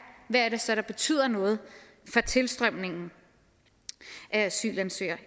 hvad der så betyder noget for tilstrømningen af asylansøgere